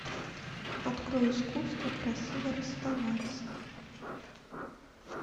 открой искусство красиво расставаться